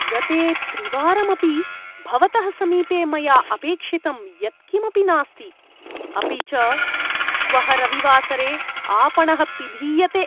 गते त्रिवारमपि भवतः समीपे मया अपेक्षितं यत्किमपि नास्ति, अपि च श्वः रविवासरे आपणः पिधीयते।